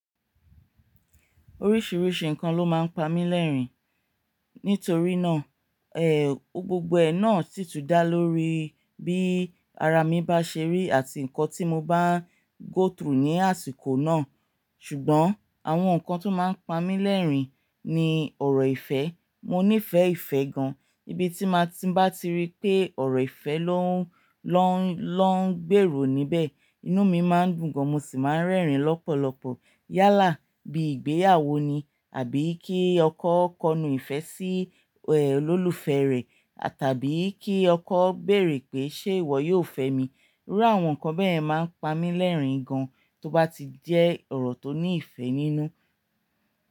Oríṣiríṣi nǹkan ló máa ń pa mí lẹ́rìn-ín. Nítorí náà, ẹ́, gbogbo ẹ̀ náà sì tù dá lórí bí ara mi bá ṣe rí àti nǹkan tí mo bá ń go through ní àsìkò náà. Ṣùgbọ́n àwọn nǹkan tó máa ń pa mí lẹ́rìn-ín ni ọ̀rọ̀ ìfẹ́. Mo nífẹ̀ẹ́ ìfẹ́ gan. Ibi tí mo bá ti rí pé ọ̀rọ̀ ìfẹ́ ló ń, ló ń, ló ń gbèrò níbẹ̀, inú mi máa ń dùn gan mo sì máa ń rẹ́rìn-ín lọ́pọ̀lọpọ̀. Yálà bí ìgbéyàwó ni àbí kí ọkọ kọnu ìfẹ́ sí, ẹ́, olólùfẹ́ rẹ̀ tàbí kí ọkọ béèrè pé ṣé ìwọ yóò fẹ́ mi. Irú àwọn nǹkan bẹ́ẹ̀ máa ń pa mí lẹ́rìn-ín gan tó bá ti jẹ́ ọ̀rọ̀ tó ní ìfẹ́ nínú.